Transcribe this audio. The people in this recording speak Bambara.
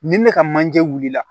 Ni ne ka manje wuli la